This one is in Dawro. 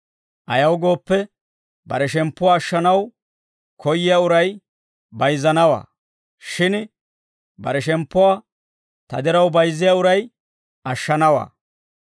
Ayaw gooppe, bare shemppuwaa ashshanaw koyyiyaa uray bayizzanawaa; shin bare shemppuwaa ta diraw bayizziyaa uray ashshanawaa.